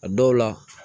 A dɔw la